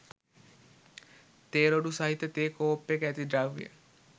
තේ රොඩු සහිත තේ කෝප්පයක ඇති ද්‍රවය